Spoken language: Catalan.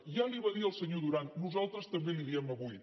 ja li ho va dir el senyor duran nosaltres també li ho diem avui